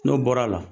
N'o bɔra a la